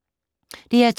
DR2